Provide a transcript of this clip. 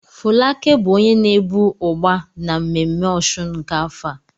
Folake bụ onye na-ebu Ugba na mmemme òsùn nke afọ a.